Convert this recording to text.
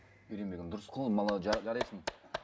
дұрыс қой ол жарайсың